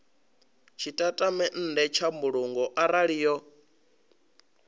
tshitatamennde tsha mbulungo arali yo